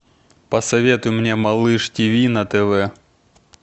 посоветуй мне малыш тиви на тв